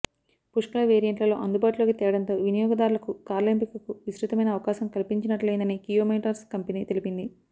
పుష్కల వేరియంట్లలో అందుబాటులోకి తేవడంతో వినియోగదారులకు కార్ల ఎంపికకు విస్తృతమైన అవకాశం కల్పించినట్లైందని కియా మోటార్స్ కంపెనీ తెలిపింది